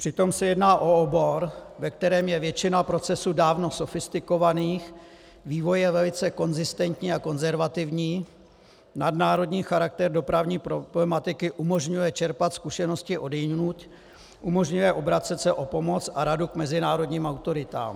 Přitom se jedná o obor, ve kterém je většina procesů dávno sofistikovaných, vývoj je velice konzistentní a konzervativní, nadnárodní charakter dopravní problematiky umožňuje čerpat zkušenosti odjinud, umožňuje obracet se o pomoc a radu k mezinárodním autoritám.